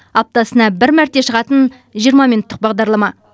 аптасына бір мәрте шығатын жиырма минуттық бағдарлама